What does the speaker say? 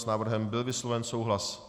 S návrhem byl vysloven souhlas.